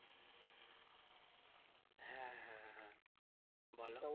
হ্যাঁ হ্যাঁ হ্যাঁ বলো